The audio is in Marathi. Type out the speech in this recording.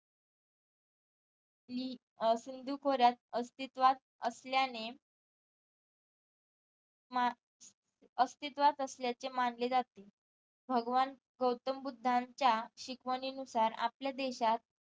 ली अं सिंधू खोऱ्यात अस्तित्वात असल्याने मा अस्तित्वात असल्याचे मानले जाते भगवान गौतम बुद्धांच्या शिकवणी नुसार आपल्या देशात